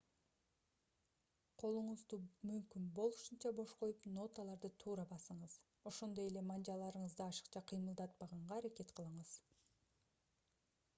колуңузду мүмкүн болушунча бош коюп ноталарды туура басыңыз ошондой эле манжаларыңызды ашыкча кыймылдатпаганга аракет кылыңыз